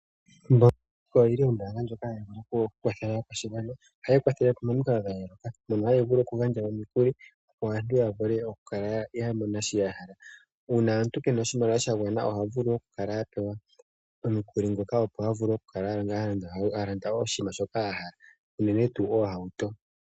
Ombaanga ya Venduka oyili ombaanga ndjoka hayi vulu okukwathela aakwashigwana. Ohayi kwathele momikalo dha yooloka, mono hayi vulu okugandja omikuli opo aantu ya vule okumona shoka ya hala. Uuna omuntu kena oshimaliwa oha vuu okukala a pewa omukuli ngoka opo a vule okukala a landa wo oshinima shoka a hala unene tuu oohauto.